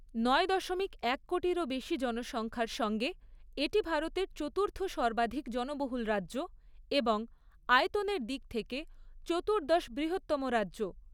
নয় দশমিক এক কোটিরও বেশি জনসংখ্যার সঙ্গে এটি ভারতের চতুর্থ সর্বাধিক জনবহুল রাজ্য এবং আয়তনের দিক থেকে চতুর্দশ বৃহত্তম রাজ্য।